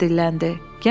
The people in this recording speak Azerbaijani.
Əsmər dilləndi.